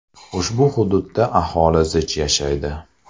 Ushbu hududda aholi zich yashaydi.